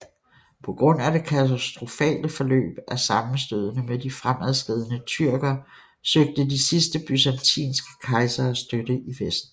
På grund af det katastrofale forløb af sammenstødene med de fremadskridende tyrker søgte de sidste byzantinske kejsere støtte i Vesten